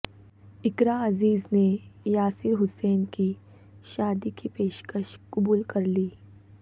اقراء عزیز نےیاسر حسین کی شادی کی پیشکش قبول کرلی